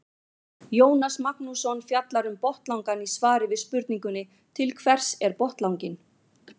Jónas Magnússon fjallar um botnlangann í svari við spurningunni Til hvers er botnlanginn?